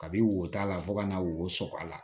Kabi wo da la fo ka na wo so a la